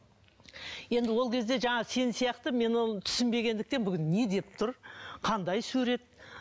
енді ол кезде жаңағы сен сияқты мен оны түсінбегендіктен бүгін не деп тұр қандай сурет